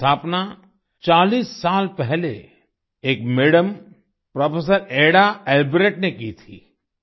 इसकी स्थापना 40 साल पहले एक मदम प्रोफ़ेसर ऐडा एलब्रेक्ट ने की थी